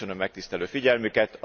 Köszönöm megtisztelő figyelmüket!